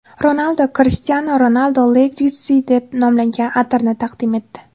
Ronaldu Cristiano Ronaldo Legacy deb nomlangan atirni taqdim etdi.